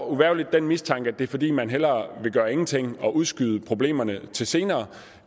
uvægerlig den mistanke at det er fordi man hellere vil gøre ingenting og udskyde problemerne til senere